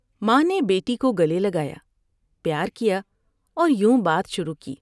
ماں نے بیٹی کو گلے لگایا ، پیار کیا اور یوں بات شروع کی ۔